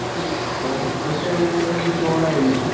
ഇപ്പൊ ഉച്ചക്ക് ചോറായിരിക്കും.